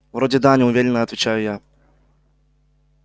вроде да неуверенно отвечаю я